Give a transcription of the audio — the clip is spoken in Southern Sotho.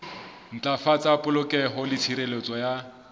ntlafatsa polokeho le tshireletso ya